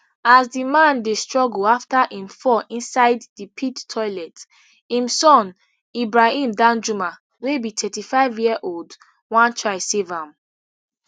as di man dey struggle afta im fall inside di pit toilet im son ibrahim danjuma wey be thirty-fiveyearold wan try save am